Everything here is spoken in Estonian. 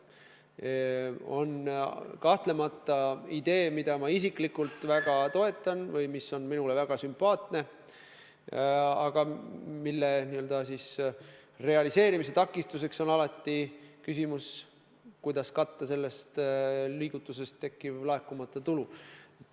See on kahtlemata idee, mida ma isiklikult väga toetan, mis on minule väga sümpaatne, aga selle n-ö realiseerimist takistab alati küsimus, kuidas katta sellest liigutusest tekkiv laekumata tulu.